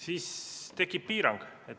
Siis tekib piirang.